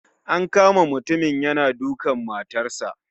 An kama mutumin yana dukan matarsa.